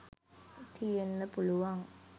තියෙන්න පුළුවන්.